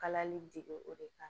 Kalali dege o de kan